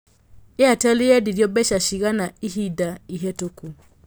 Airtel nyendĩrĩo mbeca cigana ĩhinda ĩhetũku